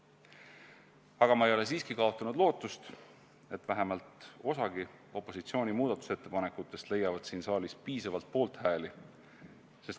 Aga ma ei ole siiski kaotanud lootust, et vähemalt osagi opositsiooni muudatusettepanekutest leiab siin saalis piisavalt poolthääli.